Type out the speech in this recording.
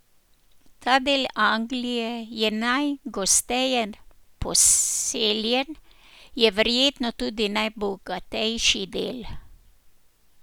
Ta del Anglije je najgosteje poseljen, je verjetno tudi najbogatejši del.